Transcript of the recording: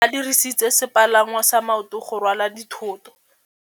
Ba dirisitse sepalangwasa maotwana go rwala dithôtô.